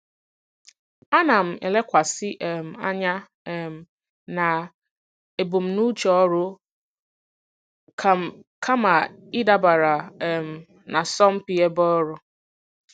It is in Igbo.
Ana m elekwasị um anya um na ebumnuche ọrụ m kama ịdabara um n'asọmpi ebe ọrụ.